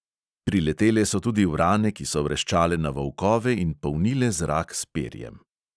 Priletele so tudi vrane, ki so vreščale na volkove in polnile zrak s perjem.